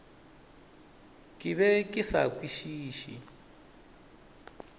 ke be ke sa kwešiše